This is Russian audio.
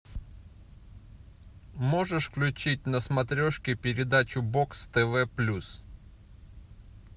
можешь включить на смотрешке передачу бокс тв плюс